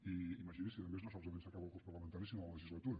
i imagini’s si a més no solament s’acaba el curs parlamentari sinó la legislatura